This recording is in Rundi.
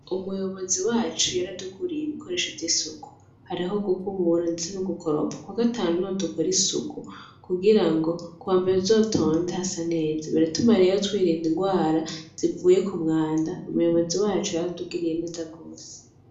Umuyobozi wacu yaratuguriye ibikoresho vy'isuku, hariho gukubura ndetse no gukoropa, Kuwa gatanu niho dukora isuku, kugira kuwa mbere tuzotonde hasa neza. Biratuma rero twirinda indwara zivuye ku mwanda, umuyobozi wacu yaratuguriye neza gose.